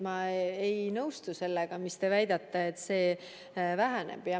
Ma ei nõustu sellega, et te väidate, et see väheneb.